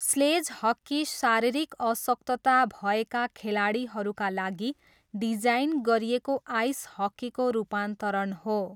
Sledge hockey शारीरिक अशक्तता भएका खेलाडीहरूका लागि डिजाइन गरिएको आइस हक्कीको रूपान्तरण हो।